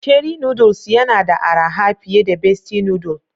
Cherry noodles yana da araha fiye da besti noodle.